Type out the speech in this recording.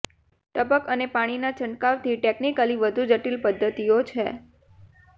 ટપક અને પાણીના છંટકાવની ટેકનિકલી વધુ જટિલ પદ્ધતિઓ છે